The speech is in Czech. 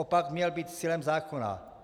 Opak měl být cílem zákona.